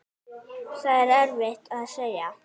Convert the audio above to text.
Það er erfitt að segja.